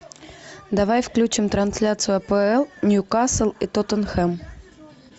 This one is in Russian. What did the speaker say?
давай включим трансляцию апл ньюкасл и тоттенхэм